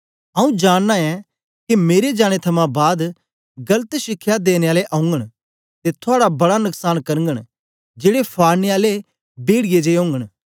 आंऊँ जानना ऐं के मेरे जाने थमां बाद गलत शिक्षा देने आले औगन ते थुआड़ा बड़ा नकसान करगन जेड़े फाड़ने आले पेड़िऐ जिए ओगन